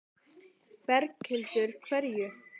Berghildur: Hverju?